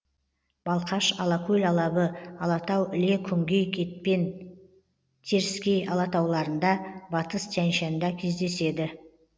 балқаш алакөл алабы алатау іле күнгей кетпен теріскей алатауларында батыс тянь шанда кездеседі